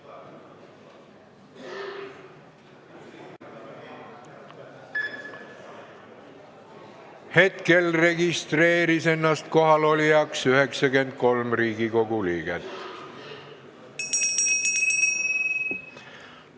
Kohaloleku kontroll Hetkel registreeris ennast kohalolijaks 93 Riigikogu liiget.